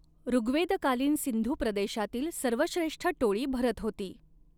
ॠग्वेदकालीन सिंधू प्रदेशातील सर्वश्रेष्ठ टोळी भरत होती.